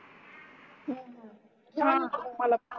मला